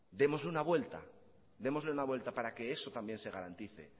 démosle una vuelta démosle una vuelta para que eso también se garantice